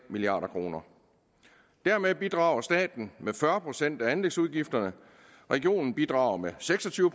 milliard kroner dermed bidrager staten med fyrre procent af anlægsudgifterne regionen bidrager med seks og tyve